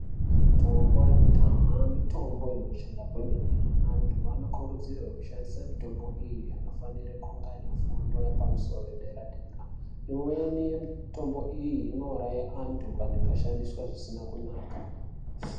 Mitombo yekudhaha mitombo inoshanda kwemene antu ano kurudzirwe kushandisa mutombo iyi anofanira kunge aine fundo yepa musoro ye dera dera imweni ye mutombo iyi ino uraya anhu kana ika shandiswa zvisina kunaka.